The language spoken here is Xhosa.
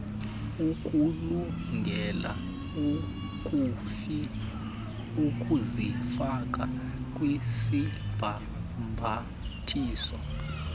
ukulungele ukuzifaka kwisibhambathiso